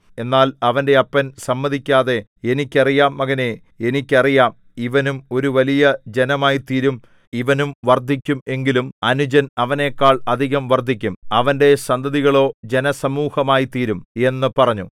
എന്നാൽ അവന്റെ അപ്പൻ സമ്മതിക്കാതെ എനിക്ക് അറിയാം മകനേ എനിക്ക് അറിയാം ഇവനും ഒരു വലിയ ജനമായിത്തീരും ഇവനും വർദ്ധിക്കും എങ്കിലും അനുജൻ അവനെക്കാൾ അധികം വർദ്ധിക്കും അവന്റെ സന്തതികളോ ജനസമൂഹമായിത്തീരും എന്നു പറഞ്ഞു